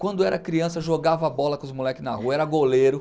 Quando era criança jogava bola com os moleques na rua, era goleiro.